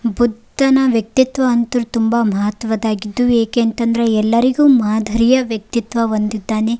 ಬುದ್ದನ ವ್ಯಕ್ತಿತ್ವ ಅಂತು ತುಂಬಾ ಮಹತ್ವದ್ದಾಗಿದ್ದು ಏಕೆ ಅಂತಂದ್ರೆ ಎಲ್ಲರಿಗು ಮಾದರಿಯ ವ್ಯಕ್ತಿತ್ವ ಹೊಂದಿದ್ದಾನೆ.